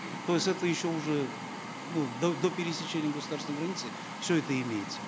то есть это еще уже ну до пересечения государственной границы все это имеется